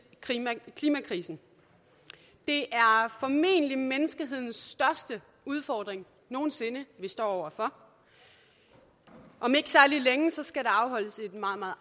klimakrisen det er formentlig menneskehedens største udfordring nogen sinde vi står over for om ikke særlig længe skal der afholdes et meget meget